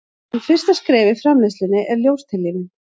en fyrsta skref í framleiðslunni er ljóstillífun